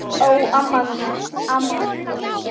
Ó, amma mín, amma mín!